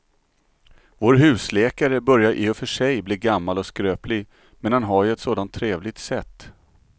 Vår husläkare börjar i och för sig bli gammal och skröplig, men han har ju ett sådant trevligt sätt!